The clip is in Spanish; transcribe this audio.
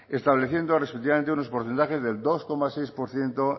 estableciendo respectivamente unos porcentajes de dos coma seis por ciento